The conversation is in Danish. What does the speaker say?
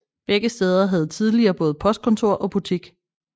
Begge steder havde tidligere både postkontor og butik